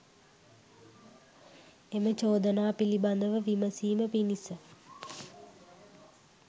එම චෝදනා පිළිබඳව විමසීම පිණිස